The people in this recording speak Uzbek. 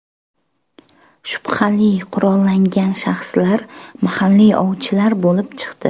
Shubhali qurollangan shaxslar mahalliy ovchilar bo‘lib chiqdi.